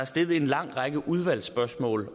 stillet en lang række udvalgsspørgsmål